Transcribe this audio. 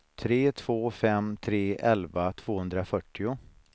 tre två fem tre elva tvåhundrafyrtio